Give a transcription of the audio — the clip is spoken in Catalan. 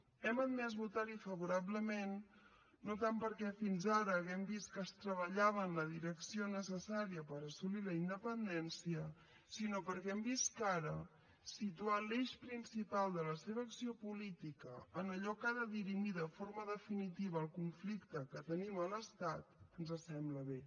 hem admès votar hi favorablement no tant perquè fins ara hàgim vist que es treballava en la direcció necessària per assolir la independència sinó perquè hem vist que ara situar l’eix principal de la seva acció política en allò que ha de dirimir de forma definitiva el conflicte que tenim a l’estat ens sembla bé